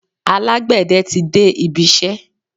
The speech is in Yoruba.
Alágbẹ̀dẹ tí de ibisẹ́.